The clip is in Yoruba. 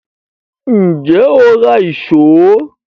Ǹjẹ́ o ra ìṣó